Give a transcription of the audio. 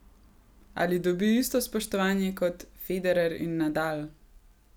Ali dobi isto spoštovanje kot Federer in Nadal?